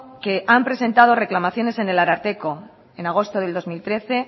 que han presentado reclamaciones en el ararteko en agosto de dos mil trece